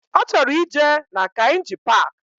Ọchọrọ ije na Kainji park